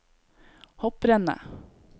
hopprennet